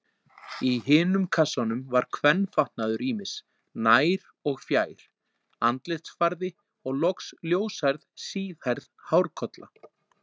Í hinum kassanum var kvenfatnaður ýmis, nær- og fjær-, andlitsfarði og loks ljóshærð, síðhærð hárkolla.